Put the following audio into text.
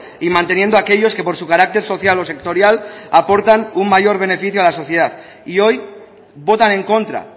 y manteniendo aquellos que por su carácter social o sectorial aportan un mayor beneficio a la sociedad y hoy votan en contra